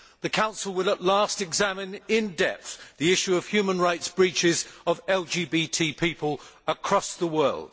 The Council will at last examine in depth the issue of human rights breaches of LGBT people across the world.